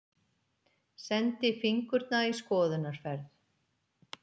Sendi fingurna í skoðunarferð.